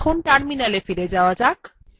এখন terminalএ ফিরে যাওয়া যাক